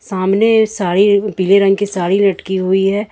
सामने साड़ी पीले रंग की साड़ी लटकी हुई है।